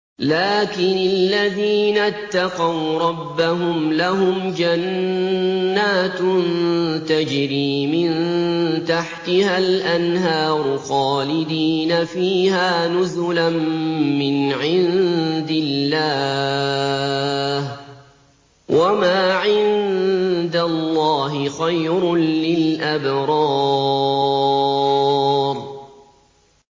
لَٰكِنِ الَّذِينَ اتَّقَوْا رَبَّهُمْ لَهُمْ جَنَّاتٌ تَجْرِي مِن تَحْتِهَا الْأَنْهَارُ خَالِدِينَ فِيهَا نُزُلًا مِّنْ عِندِ اللَّهِ ۗ وَمَا عِندَ اللَّهِ خَيْرٌ لِّلْأَبْرَارِ